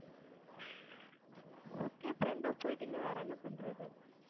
okay friend ஆ போயிட்டீங்க வேற என்ன பண்றது